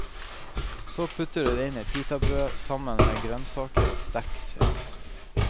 Så putter du det inn i pitabrød, sammen med grønnsaker og sterk saus.